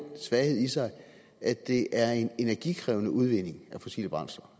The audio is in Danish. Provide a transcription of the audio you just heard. svaghed i sig at det er en energikrævende udvinding af fossile brændsler